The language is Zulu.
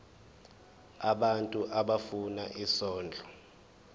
abantu abafuna isondlo